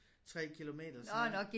3 kilometer sådan